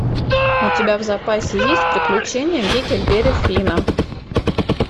у тебя в запасе есть приключения гекльберри финна